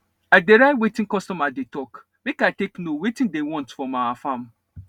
i dey write wetin customer dey talk make i take know wetin diy want from our farm